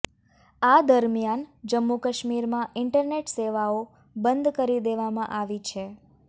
આ દરમિયાન જમ્મુ કાશ્મીરમાં ઈન્ટરનેટ સેવાઓ બંધ કરી દેવામાં આવી છે